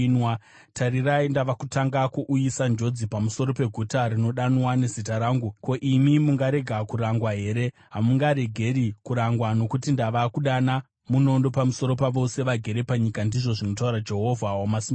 Tarirai, ndava kutanga kuuyisa njodzi pamusoro peguta rinodanwa neZita rangu, ko, imi mungarega kurangwa here? Hamungaregi kurangwa nokuti ndava kudana munondo pamusoro pavose vagere panyika, ndizvo zvinotaura Jehovha Wamasimba Ose.’